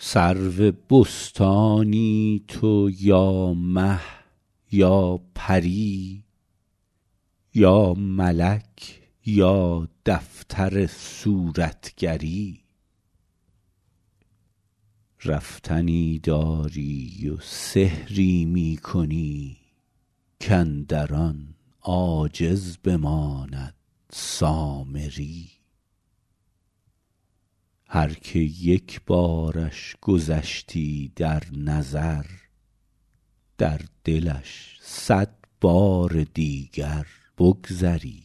سرو بستانی تو یا مه یا پری یا ملک یا دفتر صورتگری رفتنی داری و سحری می کنی کاندر آن عاجز بماند سامری هر که یک بارش گذشتی در نظر در دلش صد بار دیگر بگذری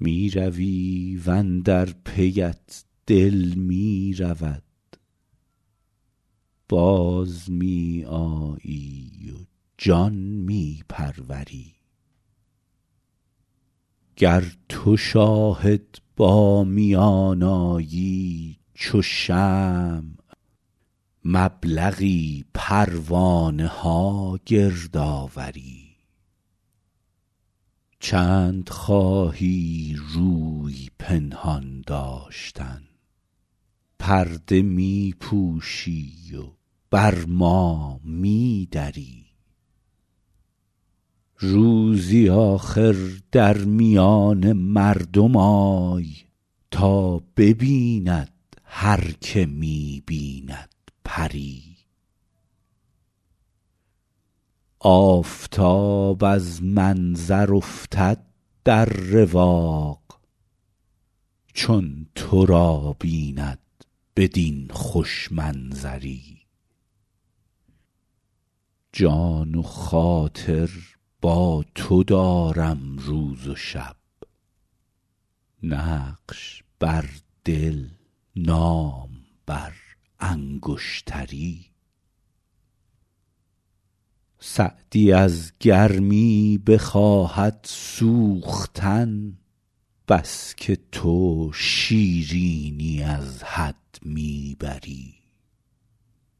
می روی و اندر پیت دل می رود باز می آیی و جان می پروری گر تو شاهد با میان آیی چو شمع مبلغی پروانه ها گرد آوری چند خواهی روی پنهان داشتن پرده می پوشی و بر ما می دری روزی آخر در میان مردم آی تا ببیند هر که می بیند پری آفتاب از منظر افتد در رواق چون تو را بیند بدین خوش منظری جان و خاطر با تو دارم روز و شب نقش بر دل نام بر انگشتری سعدی از گرمی بخواهد سوختن بس که تو شیرینی از حد می بری